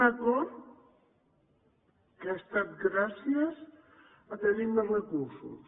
un acord que ha estat gràcies a tenir més recursos